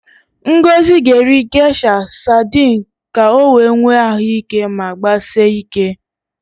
Ngozi ga-eri Gesha sadịn ka o wee nwee ahụ ike ma gbasie ike.